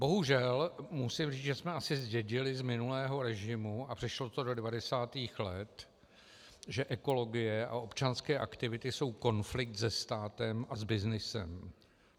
Bohužel musím říct, že jsme asi zdědili z minulého režimu, a přešlo to do 90. let, že ekologie a občanské aktivity jsou konflikt se státem a s byznysem.